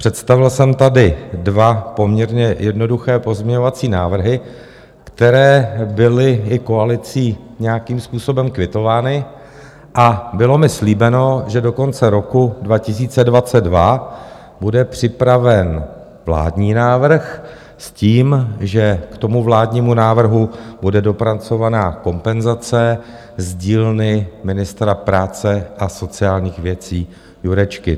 Představil jsem tady dva poměrně jednoduché pozměňovací návrhy, které byly i koalicí nějakým způsobem kvitovány, a bylo mi slíbeno, že do konce roku 2022 bude připraven vládní návrh, s tím, že k tomu vládnímu návrhu bude dopracovaná kompenzace z dílny ministra práce a sociálních věcí Jurečky.